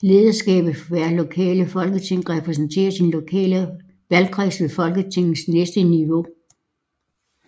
Lederskabet for hvert lokale folketing repræsenterede sin lokale valgkreds ved Folketingets næste niveau